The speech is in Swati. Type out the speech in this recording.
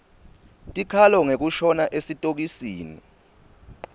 tikhalo ngekushona esitokisini